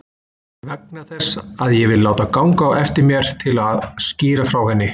Vegna þess að ég vil láta ganga á eftir mér til að skýra frá henni.